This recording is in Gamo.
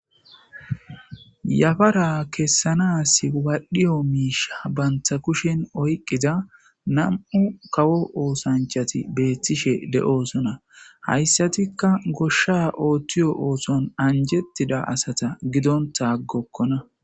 Yafara kessanas wadhiyo miisha banta kushen oyqqida nam7u kawo oosanchati beettishe de7oosona hayssatikka goshsha ooththiyo oohthon anjettida asata gidonta aggokkona.